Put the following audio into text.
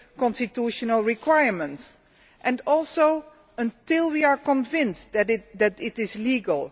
constitutional requirements, and also unless we are convinced that it is legal.